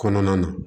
Kɔnɔna na